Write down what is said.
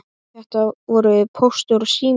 Þetta voru Póstur og Sími.